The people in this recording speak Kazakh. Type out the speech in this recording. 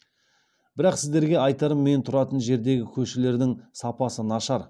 бірақ сіздерге айтарым мен тұратын жердегі көшелердің сапасы нашар